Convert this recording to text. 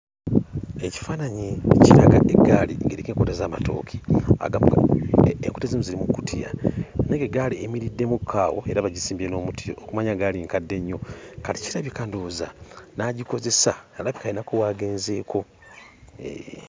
Ekifaananyi kiraga eggaali ng'eriko enkota z'amatooke agamu enkota ezimu ziri mu kkutiya naye ng'eggaali eyimiriddemukko awo era bagisimbye n'omuti okumanya ggaali nkadde nnyo kati kirabika ndowooza n'agikozesa alabika ayinako w'agenzeeko eeee.